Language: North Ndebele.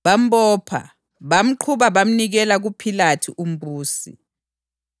Bambopha, bamqhuba, bamnikela kuPhilathu umbusi.